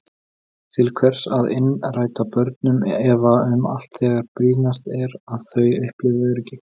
Til hvers að innræta börnum efa um allt þegar brýnast er að þau upplifi öryggi?